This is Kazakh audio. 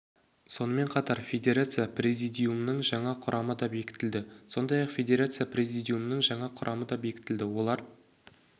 сонымен қатар федерация президиумының жаңа құрамы да бекітілді сондай-ақ федерация президиумының жаңа құрамы да бекітілді олар